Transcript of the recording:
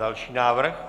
Další návrh.